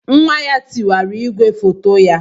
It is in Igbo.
Nwa ya tiwara igwe foto ya.